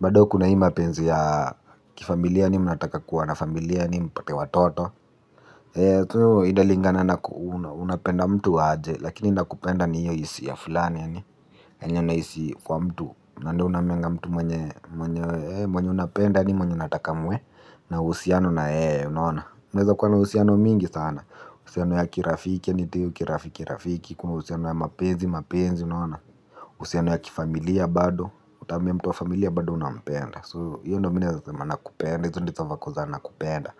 Bado kuna hii mapenzi ya kifamilia yaani mnataka kuwa nafamilia yaani mpate watoto. Tu inalingana na unapenda mtu aje. Lakini nakupenda ni hiyo isia fulani yaani yenye unahisi kwa mtu. Na ndo unaambianga mtu mwenye mwenye mwenye unapenda yaani mwenye unataka muwe na uhusiano na yeye unaona. Mnaweza kuwa na uhusiano mingi sana. Uhusiano ya kirafiki yaani tu hio ki rafiki rafiki. Kuna uhusiano ya mapezi mapenzi unaona. Uhusiano ya kifamilia bado. Utaambia mtu wa familia bado unapenda So hiyo ndo mi naeza sema nakupenda izo ndizo va ko za nakupenda.